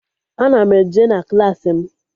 Ana m eje na Klassị m